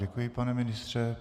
Děkuji, pane ministře.